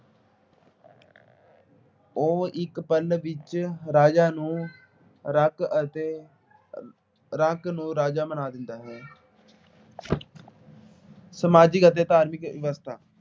ਉਹ ਇੱਕ ਪਲ ਵਿੱਚ ਰਾਜਾ ਨੂੰ ਰੰਕ ਅਤੇ ਰੰਕ ਨੂੰ ਰਾਜਾ ਬਣਾ ਦਿੰਦਾ ਹੈ। ਸਮਾਜਿਕ ਅਤੇ ਧਾਰਮਿਕ ਵਿਵਸਥਾ